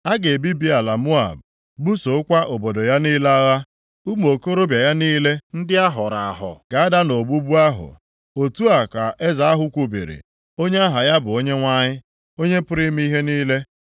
A ga-ebibi ala Moab, busokwa obodo ya niile agha. Ụmụ okorobịa ya niile ndị ahọrọ ahọ ga-ada nʼogbugbu + 48:15 Ya bụ, nʼagha ahụ ahụ.” Otu a ka Eze ahụ kwubiri, onye aha ya bụ Onyenwe anyị, Onye pụrụ ime ihe niile.